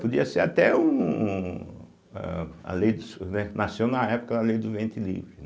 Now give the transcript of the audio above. Podia ser até... um âh, a lei dos, eh nasceu na época da Lei do Ventre Livre, né.